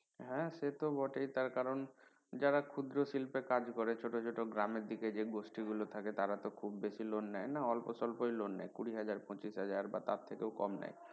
হ্যাঁ সে তো বটেই তার কারন যারা ক্ষুদ্র শিল্পে কাজ করে ছোট ছোট গ্রামের দিকে যে গোষ্ঠী গুলো থাকে তারা তো খহুব বেশি loan নেয় না অল্প সল্প ই loan নেয় কুড়ি হাজার পঁচিশ হাজার বা তার থেকে ও কম নেয়